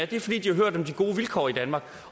det er fordi de har hørt om de gode vilkår i danmark